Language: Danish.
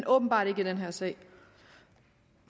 åbenbart ikke i den her sag